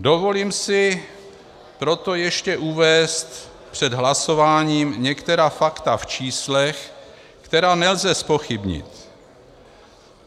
Dovolím si proto ještě uvést před hlasováním některá fakta v číslech, která nelze zpochybnit.